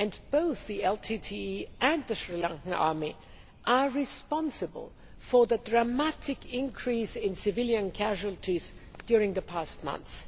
Both the LTTE and the Sri Lankan army are responsible for the dramatic increase in civilian casualties during the past months.